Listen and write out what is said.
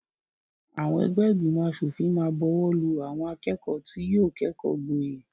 Àwọn ẹgbẹ́ ìgbìmọ̀-aṣòfìn máa bọwọ́lù àwọn akẹ́kọ̀ọ́ tí yóò kẹ́kọ̀ọ́ gboyè.